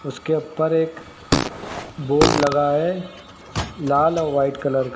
उसके ऊपर एक बोर्ड लगा है लाल और व्हाइट कलर का।